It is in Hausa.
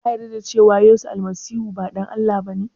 Ka yarda da cewa yesu almasihu ba ɗan Allah ba ne?